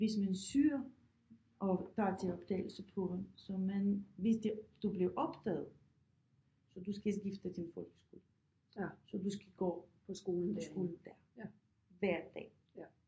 Hvis man søger og tager til optagelsesprøve så man hvis det du bliver optaget så du skal skifte til folkeskole så du skal gå på skolen der hver dag